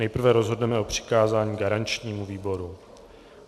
Nejprve rozhodneme o přikázání garančnímu výboru.